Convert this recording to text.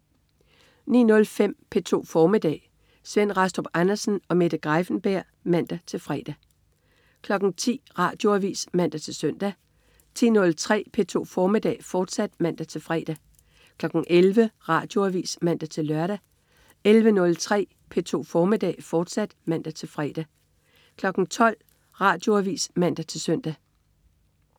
09.05 P2 formiddag. Svend Rastrup Andersen og Mette Greiffenberg (man-fre) 10.00 Radioavis (man-søn) 10.03 P2 formiddag, fortsat (man-fre) 11.00 Radioavis (man-lør) 11.03 P2 formiddag, fortsat (man-fre) 12.00 Radioavis (man-søn)